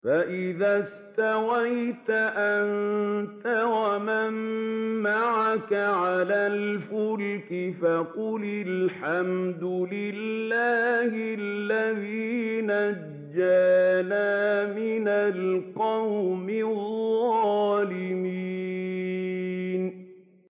فَإِذَا اسْتَوَيْتَ أَنتَ وَمَن مَّعَكَ عَلَى الْفُلْكِ فَقُلِ الْحَمْدُ لِلَّهِ الَّذِي نَجَّانَا مِنَ الْقَوْمِ الظَّالِمِينَ